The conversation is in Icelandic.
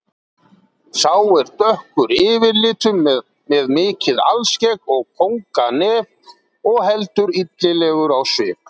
Sá er dökkur yfirlitum með mikið alskegg og kónganef og heldur illilegur á svip.